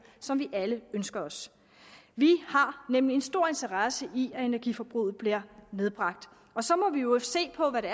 som vi alle ønsker os vi har nemlig en stor interesse i at energiforbruget bliver nedbragt og så må vi i øvrigt se på hvad det